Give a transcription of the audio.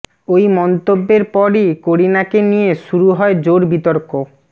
ওই মন্তব্যের পরই করিনাকে নিয়ে শুরু হয় জোর বিতর্ক